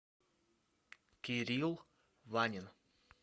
кирилл ванин